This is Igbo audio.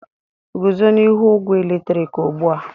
Guzo n'ihu ogwe eletrik ugbu a!